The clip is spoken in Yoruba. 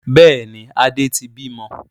Bẹ́ẹ̀ni, Adé tí bí mọ.